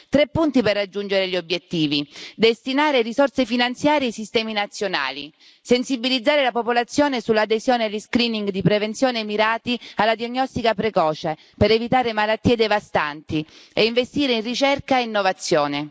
Tre punti per raggiungere gli obiettivi destinare risorse finanziarie ai sistemi nazionali, sensibilizzare la popolazione sull'adesione di screening di prevenzione mirati alla diagnostica precoce per evitare malattie devastanti e investire in ricerca e innovazione.